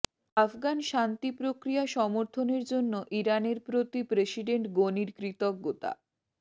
আফগান শান্তি প্রক্রিয়া সমর্থনের জন্য ইরানের প্রতি প্রেসিডেন্ট গনির কৃতজ্ঞতা